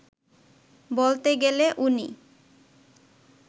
বলতে গেলে উনি